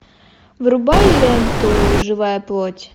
врубай ленту живая плоть